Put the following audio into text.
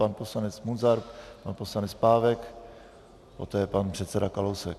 Pan poslanec Munzar, pan poslanec Pávek, poté pan předseda Kalousek.